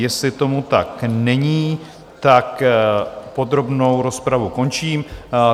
Jestli tomu tak není, tak podrobnou rozpravu končím.